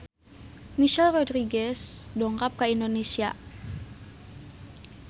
Michelle Rodriguez dongkap ka Indonesia